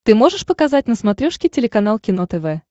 ты можешь показать на смотрешке телеканал кино тв